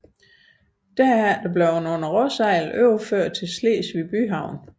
Derefter blev den under råsejl overført til Slesvig byhavn